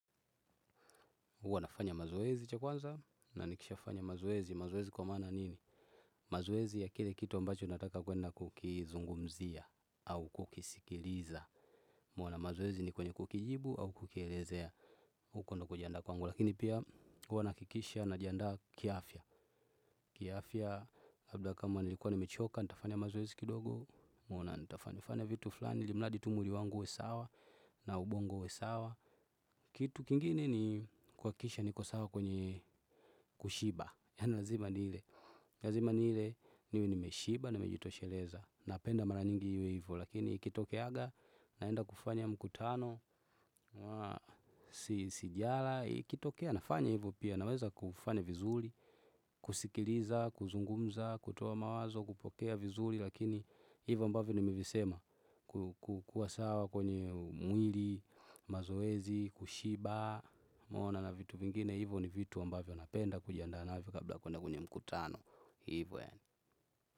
Uwanafanya mazoezi cha kwanza na nikisha fanya mazoezi. Mazoezi kwa maana nini? Mazoezi ya kile kitu ambacho nataka kwenda kukizungumzia au kukisikiliza. Meona mazoezi ni kwenye kukijibu au kukielezea. Ukondo kujiandaa kwangu. Lakini pia uwa naakikisha na jiandaa kiafya. Kiafya labda kama nilikuwa nimechoka, nitafanya mazoezi kidogo. Meona nitafanya vitu flani, ilimladi tu mwili wangu huwe sawa na ubongo huwe sawa. Kitu kingine ni kuakikisha niko sawa kwenye kushiba. Yani lazima nile. Ni lazima nile niwe nimeshiba, nimejitosheleza. Napenda mara nyingi hivo. Lakini ikitokeaga, naenda kufanya mkutano. Sijala, ikitokeya nafanya hivo pia. Naweza kufanya vizuli, kusikiliza, kuzungumza, kutoa mawazo, kupokea vizuli. Lakini hivo ambavyo nimivisema. Kukua sawa kwenye mwili, mazoezi, kushiba meona na vitu vingine hivyo ni vitu ambavyo napenda kujianda navo kabla ya kuenda kwenye mkutano hivyo ene.